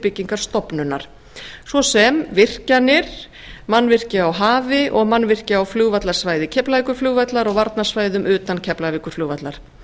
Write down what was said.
byggingarstofnunar svo sem virkjanir mannvirki á hafi og mannvirki á flugvallarsvæði keflavíkurflugvallar og varnarsvæðum utan keflavíkurflugvallar